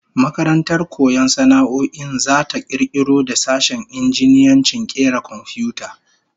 Makarantar koyon sana'o'in zata kirkiro da sashen injiniyancin kera komfiyuta